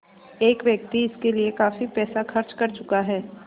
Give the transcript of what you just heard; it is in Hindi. एक व्यक्ति इसके लिए काफ़ी पैसा खर्च कर चुका है